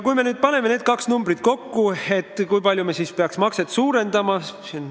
Kui me nüüd paneme need kaks arvu kokku, kui palju me siis peaks makset suurendama?